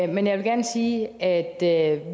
men jeg vil gerne sige at